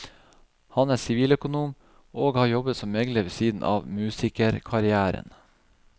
Han er siviløkonom, og har jobbet som megler ved siden av musikerkarrieren.